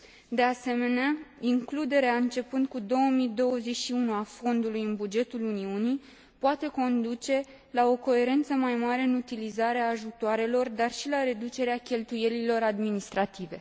De asemenea, includerea, începând cu 2021, a Fondului în bugetul Uniunii poate conduce la o coerență mai mare în utilizarea ajutoarelor, dar și la reducerea cheltuielilor administrative.